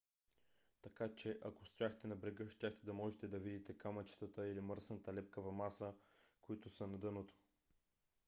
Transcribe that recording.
така че ако стояхте на брега щяхте да можете да видите камъчетата или мръсната лепкава маса които са на дъното